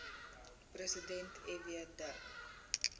president fw de